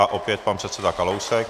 A opět pan předseda Kalousek.